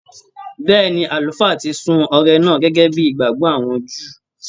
Bẹ́ẹ̀ni, Àlùfáà ti sun ọrẹ náà gẹ́gẹ́ bí ìgbàgbọ́ àwọn Júù.